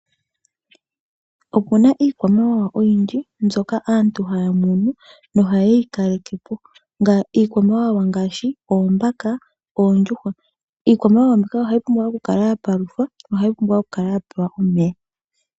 Oku na iikwamawawa oyindji mbyoka aantu haya munu nohaye yi kaleke po, iikwamawawa ngaashi oombaka, oondjuhwa. Iikwamawawa mbika ohayi pumbwa okukala ya paluthwa yo ohayi pumbwa okukala ya pewa omeya.